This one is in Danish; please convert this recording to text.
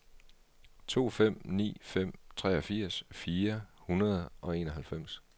to fem ni fem treogfirs fire hundrede og enoghalvfems